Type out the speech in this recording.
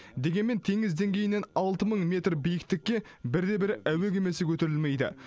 дегенмен теңіз деңгейінен алты мың метр биіктікке бірде бір әуе кемесі көтерілмейді